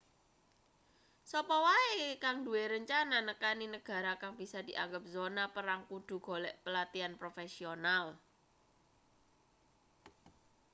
sapa wae kang duwe rencana nekani negara kang bisa dianggep zona perang kudu golek pelatihan profesional